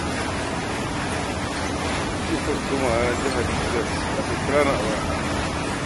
Jiya kwastomana na jihar Niger ya kwa kira ni a waya.